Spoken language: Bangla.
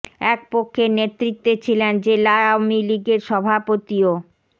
এক পক্ষের নেতৃত্বে ছিলেন জেলা আওয়ামী লীগের সভাপতি ও